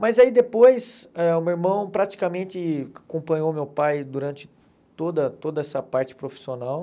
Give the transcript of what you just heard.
Mas aí depois, ãh o meu irmão praticamente acompanhou o meu pai durante toda toda essa parte profissional.